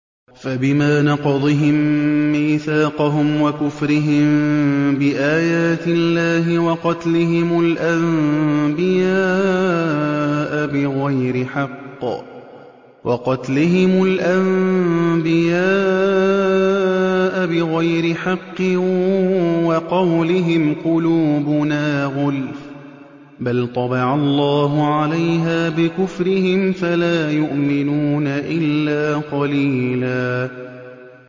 فَبِمَا نَقْضِهِم مِّيثَاقَهُمْ وَكُفْرِهِم بِآيَاتِ اللَّهِ وَقَتْلِهِمُ الْأَنبِيَاءَ بِغَيْرِ حَقٍّ وَقَوْلِهِمْ قُلُوبُنَا غُلْفٌ ۚ بَلْ طَبَعَ اللَّهُ عَلَيْهَا بِكُفْرِهِمْ فَلَا يُؤْمِنُونَ إِلَّا قَلِيلًا